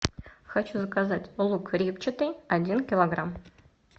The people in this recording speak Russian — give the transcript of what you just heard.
хочу заказать лук репчатый один килограмм